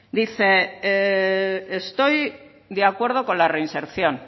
dice estoy de acuerdo con la reinserción